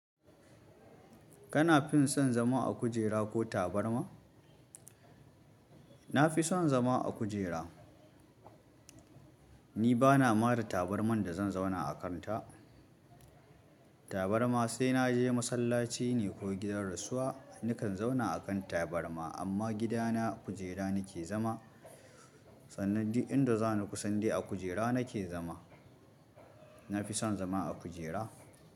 Kana fin son zama a kujera ko tabarma? Na fi son zama a kujera. Ni ba na mada tabarman da zan zauna a kanta. Tabarma sai na je masallaci ne ko gidan rasuwa, nakan zauna a kan tabarma amma gidana kujera nake zama. Sannan duk inda za ni kusande a kujera nake zama. Na fi son zama a kujera.